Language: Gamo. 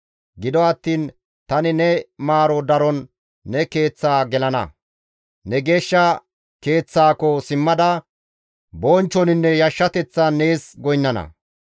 Gido attiin tani ne maaro daron ne keeththa gelana. Ne geeshsha Keeththaako simmada bonchchoninne yashshateththan nees goynnana.